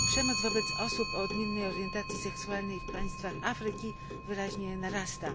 Przemoc wobec osób o odmiennej orientacji seksualnej w państwach Afryki wyraźnie narasta.